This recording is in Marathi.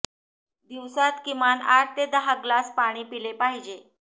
दिवसात किमान आठ ते दहा ग्लास पाणी पिले पाहिजे